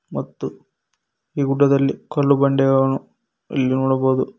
ಮತ್ತು ಈ ಗುಡ್ಡದಲ್ಲಿ ಕಲ್ಲು ಬಂಡೆಗಳನ್ನು ಇಲ್ಲಿ ನೋಡಬೋದು.